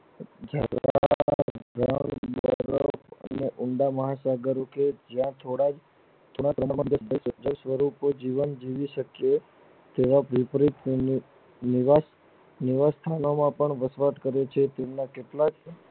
અને ઊંડા મહાસાગર કે જ્યાં છોડાય તેના પ્રબળ સ્વરૂપો જીવન જીવી શકીયે તેવા રુદ્ર કોનો નુવત નુવત ભણાવવા પણ બધાજ પરિચિત તેમના કેટલાક